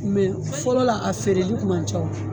fɔlɔla a feereli kun man ca.